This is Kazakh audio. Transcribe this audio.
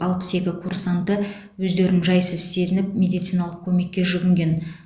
алпыс екі курсанты өздерін жайсыз сезініп медициналық көмекке жүгінген